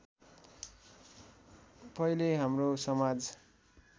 पहिले हाम्रो समाज